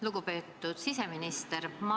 Lugupeetud siseminister!